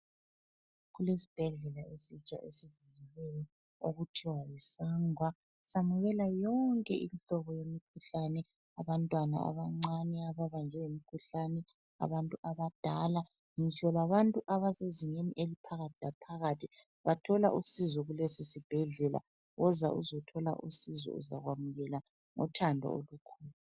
Kulesibhedlela esitsha esivuliweyo okuthiwa yiSangwa samukela yonke imihlobo yemikhuhlane, abantwana abancane ababanjwe yimikhuhlane, abantu abadala ngitsho labantu abasezingeni eliphakathi laphakathi bathola usizo kulesi sibhedlela. Woza uzothola usizo uzakwamukelwa ngothando olukhulu.